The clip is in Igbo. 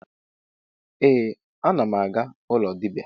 Ee, anam aga ụlọ dibia